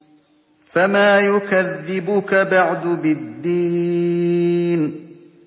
فَمَا يُكَذِّبُكَ بَعْدُ بِالدِّينِ